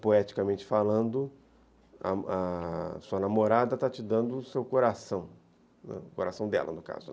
poeticamente falando, a a sua namorada está te dando o seu coração, o coração dela, no caso.